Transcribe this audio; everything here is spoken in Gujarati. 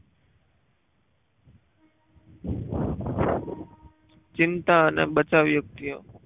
ચિંતા અને બતાવવા વ્યક્તિ